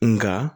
Nga